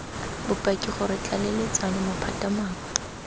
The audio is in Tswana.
bopaki gore dtlaleletsa maphata mangwe